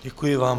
Děkuji vám.